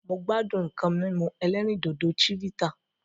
Mo gbádùn nǹkan mímú ẹlẹ́rìndòdò Chivita